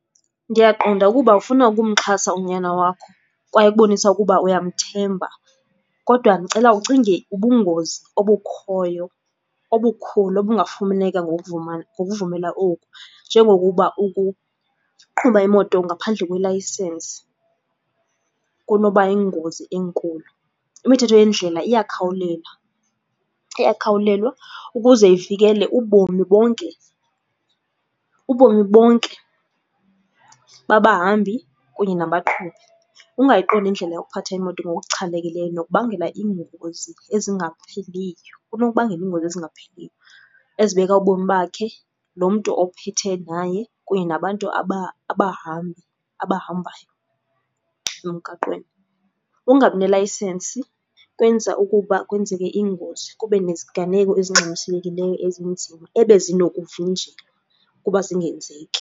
Ndiyaqonda ukuba ufuna ukumxhasa unyana wakho kwaye ukubonisa ukuba uyamthemba, kodwa ndicela ucinge ubungozi obukhoyo obukhulu obungafumaneka ngokuvuma, ngokuvumela oku njengokuba ukuqhuba imoto ngaphandle kwelayisensi kunoba yingozi enkulu. Imithetho yendlela iyakhawulela, iyakhawulelwa ukuze ivikele ubomi bonke, ubomi bonke babahambi kunye nabaqhubi. Ukungayiqondi indlela yokuphatha imoto ngokuchanekileyo unokubangela iingozi ezingapheliyo, kunokubangela iingozi ezingapheliyo ezibeka ubomi bakhe lo mntu ophethe naye kunye nabantu abahambi, abahambayo emgaqweni. Ukungabi nelayisenisi kwenza ukuba kwenzeke iingozi, kube neziganeko ezingxamisekileyo ezinzima ebezinokuvinjelwa ukuba zingenzeki.